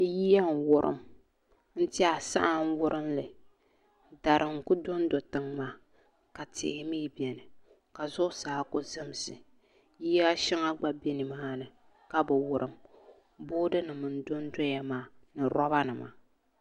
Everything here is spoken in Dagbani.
Yiya n wurim n tiɛha saa n wurim li dari n ku dondi tiŋ maa ka tihi mii biɛni ka zuɣusaa ku zimsi yiya shɛŋa gba bɛ nimaani ka bi wurim boodi nim n dondoya maa ni roba nima